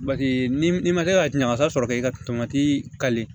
Bake ni ma kɛ ka ɲagasa sɔrɔ ka i ka tomati kari